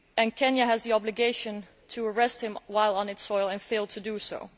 Kenya had the obligation to arrest him while he was on its soil and failed to do so.